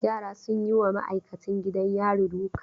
Yara sun yi wa ma'aikacin gidan yari duka.